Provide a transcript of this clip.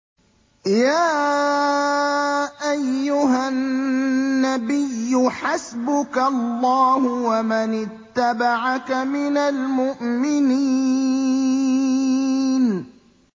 يَا أَيُّهَا النَّبِيُّ حَسْبُكَ اللَّهُ وَمَنِ اتَّبَعَكَ مِنَ الْمُؤْمِنِينَ